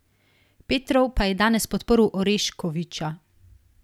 Petrov pa je danes podprl Oreškovića.